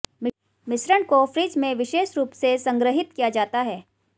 मिश्रण को फ्रिज में विशेष रूप से संग्रहीत किया जाता है